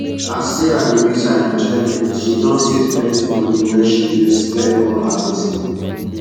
as sarah reduce her enjoyment she don save plenty money wey she use clear all her gbese